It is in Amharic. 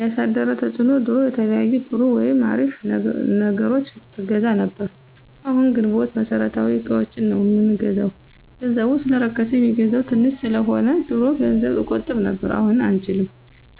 ያሳደረው ተፅዕኖ ድሮ የተለያዩ ጥሩ ወይም አሪፍ ነገሮችን አገዛ ነብር አሁን ግንቦት መሠረታዊ እቃዎችን ነው ምንገዛው ገንዘቡ ሰለረከስ የሚገዛው ተንሽ ሰለሆነ። ድሮ ገንዘብ እቆጥብ ነብር አሁን አንችልም